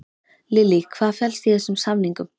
Lillý, hvað felst í þessum samningum?